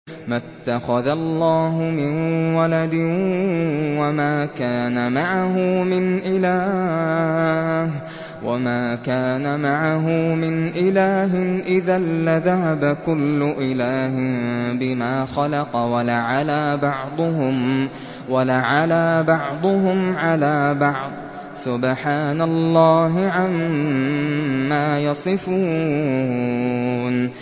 مَا اتَّخَذَ اللَّهُ مِن وَلَدٍ وَمَا كَانَ مَعَهُ مِنْ إِلَٰهٍ ۚ إِذًا لَّذَهَبَ كُلُّ إِلَٰهٍ بِمَا خَلَقَ وَلَعَلَا بَعْضُهُمْ عَلَىٰ بَعْضٍ ۚ سُبْحَانَ اللَّهِ عَمَّا يَصِفُونَ